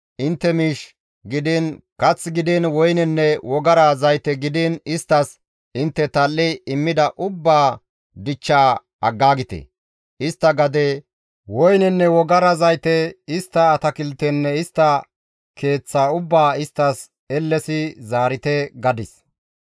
Intte miish gidiin, kath gidiin woynenne wogara zayte gidiin isttas intte tal7i immida ubbaa dichchaa aggaagite; istta gade, woynenne wogara zayte, istta atakiltenne istta keeththa ubbaa isttas ellesi zaarite!» gadis.